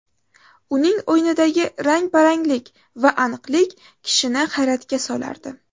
Uning o‘yinidagi rang baranglik va aniqlik kishini hayratga solardi.